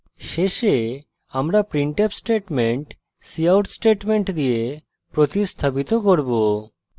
শেষে আমরা printf statement cout statement দিয়ে প্রতিস্থাপিত করব